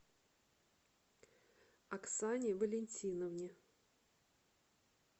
оксане валентиновне